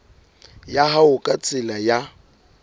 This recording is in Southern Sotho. ya hao ka tsela ya